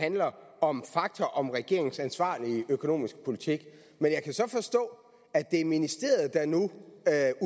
handler om fakta og om regeringens ansvarlige økonomiske politik men jeg kan så forstå at det er ministeriet der nu